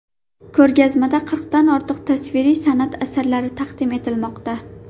Ko‘rgazmada qirqdan ortiq tasviriy san’at asarlari taqdim etilmoqda.